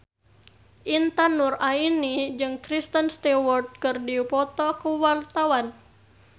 Intan Nuraini jeung Kristen Stewart keur dipoto ku wartawan